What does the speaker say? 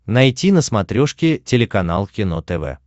найти на смотрешке телеканал кино тв